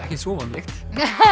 ekkert svo óvanalegt